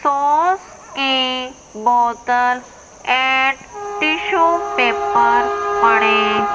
sauce की बोतल and tissue paper पड़े--